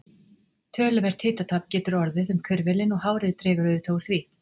Töluvert hitatap getur orðið um hvirfilinn og hárið dregur auðvitað úr því.